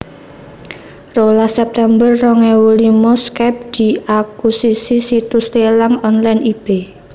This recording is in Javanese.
Rolas september rong ewu limo Skype diakusisi situs lélang online eBay